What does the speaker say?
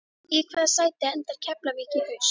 Í hvaða sæti endar Keflavík í haust?